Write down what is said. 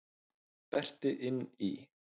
Berti inn í.